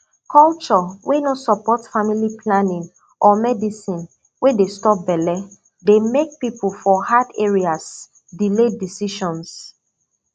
culture wey no support family planning or medicine wey dey stop belle dey make people for hard areas delay decisions